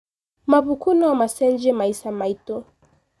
Mabuku no macenjie maica maitũ.